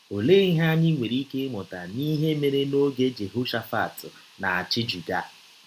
Ọlee ihe anyị nwere ike ịmụta n’ihe mere n’ọge Jehọshafat na - achị Juda?